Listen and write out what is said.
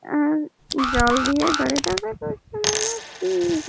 আর জল দিয়ে গাড়িটাকে ধুয়ানর দিন।